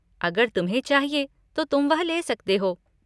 अगर तुम्हें चाहिए तो तुम वह ले सकते हो।